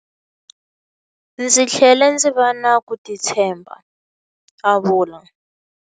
Ndzi tlhele ndzi va na ku titshemba, a vula.